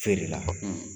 Feere la